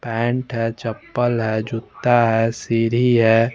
Paint हैं चप्पल हैं जूता हैं सीरी हैं।